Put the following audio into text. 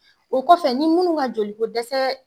O kɔfɛ ni munnu ka joli ko dɛsɛɛ